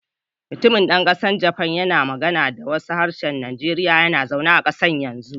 Mutumin dan kasar Japan yana magana da wasu harsunan Nijeriya yana zaune a kasar yanzu.